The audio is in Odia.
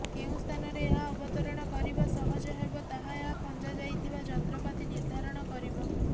କେଉଁ ସ୍ଥାନରେ ଏହା ଅବତରଣ କରିବା ସହଜ ହେବ ତାହା ଏଥିରେ ଖଞ୍ଜାଯାଇଥିବା ଯନ୍ତ୍ରପାତି ନିର୍ଦ୍ଧାରଣ କରିବ